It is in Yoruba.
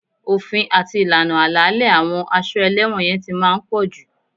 Òfin àti ìlànà àlàálẹ̀ àwọn a ṣọ́ ẹlẹ́wọ̀n yẹn ti máa ń pọ̀jù